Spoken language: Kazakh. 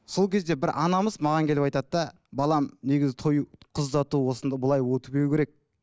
сол кезде бір анамыз маған келіп айтады да балам негізі той қыз ұзату осында былай өтпеуі керек